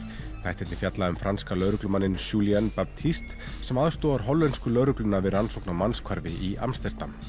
þættirnir fjalla um franska lögreglumanninn Julien Baptiste sem aðstoðar hollensku lögregluna við rannsókn á í Amsterdam